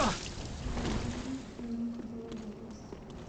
роб райнер в твоем каталоге есть